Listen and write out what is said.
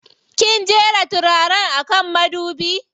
Kin jera turaren a kan madubi?